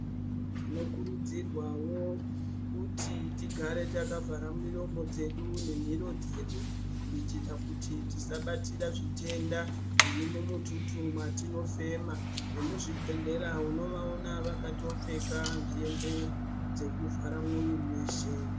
Tinokurudzirwawo kuti tigare takavhara miromo dzedu nemhiro dzedu kuitira kuti tisabatira zvitenda zviri mumututu mwatinofema. Vekuzvibhehlera unovaona vakatopfeka hembe dzekuvhara mwiri weshe.